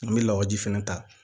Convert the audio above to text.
An bɛ lawaji fɛnɛ ta